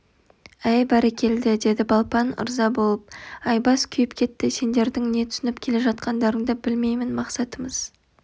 әй бәрекелді деді балпан ырза болып айбас күйіп кетті сендердің не түсініп келе жатқандарыңды білмеймін мақсатымыз